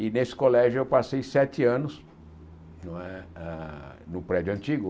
E nesse colégio eu passei sete anos, não é na no prédio antigo.